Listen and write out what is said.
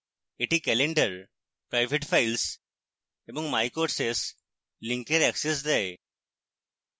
এটি calendar private files এবং my courses links access দেয়